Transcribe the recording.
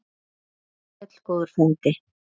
Far sæll góður frændi.